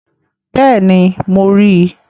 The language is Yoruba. Bẹ́ẹ̀ni, mo ríi